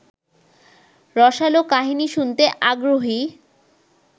রসালো কাহিনী শুনতে আগ্রহী